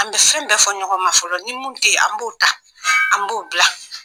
An bɛ fɛn bɛɛ fɔ ɲɔgɔn ma fɔlɔ ni min tɛ yen an b'o ta an b'o bila